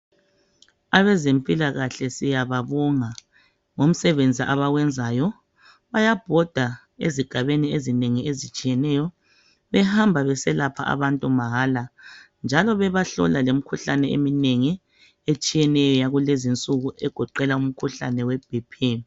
Abezempilakahle siyababonga ngomsebenzi abawenzayo, bayabhoda ezigabeni ezinengi ezitshiyeneyo behamba beselapha abantu mahala njalo bebahlola lemikhuhlane eminengi etshiyeneyo yakulezi insuku egoqela umkhuhlane we Bp.